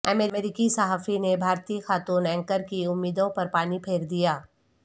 امریکی صحافی نے بھارتی خاتون اینکر کی امیدوں پر پانی پھیر دیا